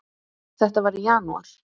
Þetta var í janúar.